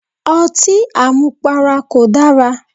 Otí àmupara kò dara.